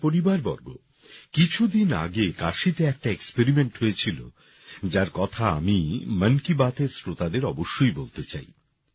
আমার পরিবারবর্গ কিছুদিন আগে কাশীতে একটা এক্সপেরিমেন্ট হয়েছিল যার কথা আমি মন কী বাতের শ্রোতাদের অবশ্যই বলতে চাই